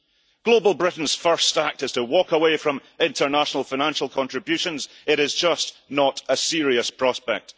If Global Britain's first act is to walk away from international financial contributions, it is just not a serious prospect.